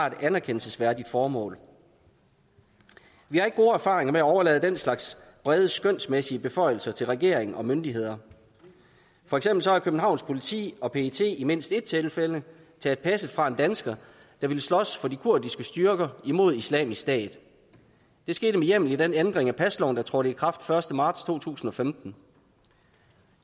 et anerkendelsesværdigt formål vi har ikke gode erfaringer med at overlade den slags brede skønsmæssige beføjelser til regering og myndigheder for eksempel har københavns politi og pet i mindst et tilfælde taget passet fra en dansker der ville slås for de kurdiske styrker imod islamisk stat det skete med hjemmel i den ændring af pasloven der trådte i kraft den første marts to tusind og femten